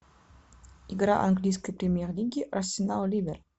игра английской премьер лиги арсенал ливер